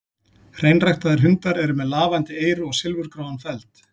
Hreinræktaðir hundar eru með lafandi eyru og silfurgráan feld.